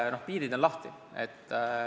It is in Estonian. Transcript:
Piirid on lahti.